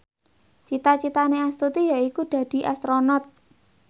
cita citane Astuti yaiku dadi Astronot